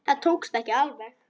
Það tókst ekki alveg.